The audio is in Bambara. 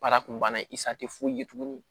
Baara kun banna i sa tɛ foyi ye tuguni